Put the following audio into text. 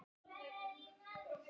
Við vissum það bæði.